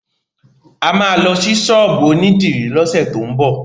A máa lọ sí ṣọ́ọ̀bù onídìrí lọ́sẹ̀ tó ń bọ̀.